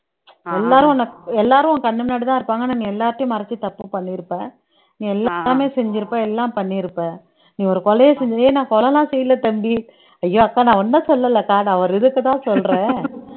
எல்லாரும் உன்னை எல்லாரும் உன் கண்ணு முன்னாடிதான் இருப்பாங்க ஆனா நீ எல்லாத்தையும் மறைச்சு தப்பு பண்ணிருப்ப நீ எல்லாமே செஞ்சிருப்ப எல்லாம் பண்ணியிருப்ப நீ ஒரு கொலையை செஞ்சி ஏய் நான் கொலை எல்லாம் செய்யல தம்பி ஐயோ அக்கா நான் உன்ன சொல்லலக்கா நான் ஒரு இதுக்குதான் சொல்றேன்